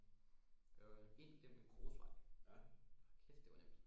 Det var ind gennem en grusvej hold kæft det var nemt